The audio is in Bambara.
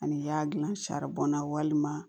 Ani i y'a dilan saribɔn na walima